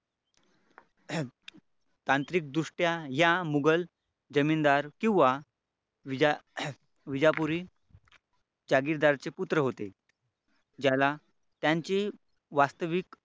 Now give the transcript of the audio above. तांत्रिक दृष्ट्या या मोगल जमीनदार किंवा विजापुरी जागीरदार चे पुत्र होते ज्याला त्यांची वास्तविक